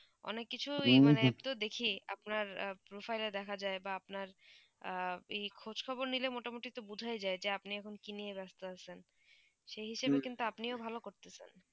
অনেক কিছু দেখি আপনার profile এ দেখা যায় বা আপনার ই খোঁজ খবর নিলে মোটামোটি তো বোঝা যায় যে আপনি আখন কি নিয়ে ব্যস্ত আছেন সেই হিসাবে কিন্তু আপনিও ভালো করতেছেন